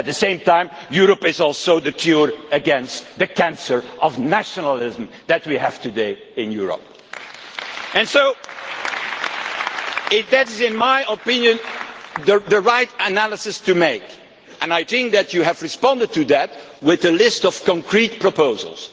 At the same time, Europe is also the cure against the cancer of nationalism that we have today in Europe. That is in my opinion the right analysis to make and I think that you have responded to that with a list of concrete proposals.